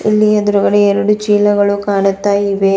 ಇಲ್ಲಿ ಎದ್ರುಗಡೆ ಎರಡು ಚೀಲಗಳು ಕಾಣುತ್ತಾ ಇವೆ.